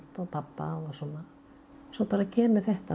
og pabba og svona svo bara kemur þetta